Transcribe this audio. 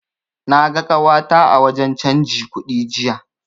Na ga ƙawata a wajen canji kudi jiya.